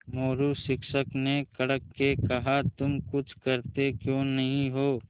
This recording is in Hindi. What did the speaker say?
मोरू शिक्षक ने कड़क के कहा तुम कुछ करते क्यों नहीं हो